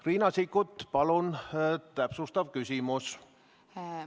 Riina Sikkut, palun täpsustav küsimus!